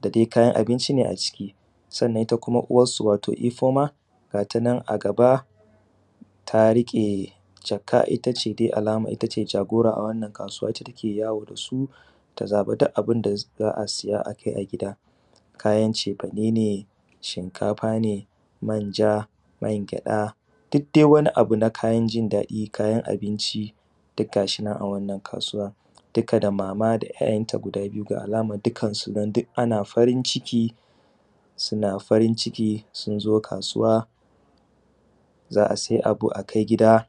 da dai kayan abinci ne a ciki, sannan ita kuma uwarsu wato ifoma, gata nan a gaba ta riƙe jaka, ita ce dai alaman ita ce jagora a wannan kasuwa ita take yawo dasu ta zaɓa duk abinda za a siya a kai a gida. Kayan cefane ne, shinkafa ne, manja man gyada duk dai wani abu na kayan jin daɗi, kayan abinci ne duk gashi nan a wannan kasuwa. Duka da mama da ‘ya’yanta guda biyu ga alama nan dukansu nan duk ana farin ciki suna farin ciki sun zo kasuwa za a sai abu akai gida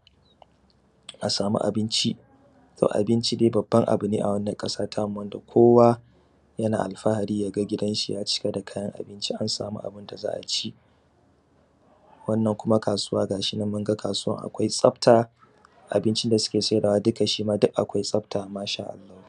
a samu abinci. Abinci dai babban abu ne a wannan ƙasa tamu wanda kowa yana alfahari yaga gidanshi ya cıka kayan abinci an samu abinda za aci. Wannan kuma kasuwa gashi nan munga kasuwan akwai tsafta abincin da suke saidawa duk akwai tsafta Masha Allah